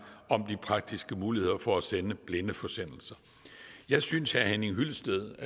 om de praktiske muligheder for at sende blindeforsendelser jeg synes herre henning hyllested